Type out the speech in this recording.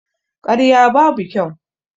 Karya babu kyau